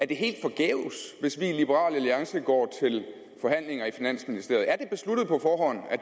det helt forgæves hvis vi i liberal alliance går til forhandlinger i finansministeriet